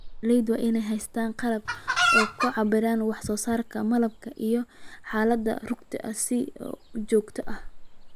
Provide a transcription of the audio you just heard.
Beeralaydu waa inay haystaan ??qalab ay ku cabbiraan wax soo saarka malabka iyo xaaladda rugta si joogto ah.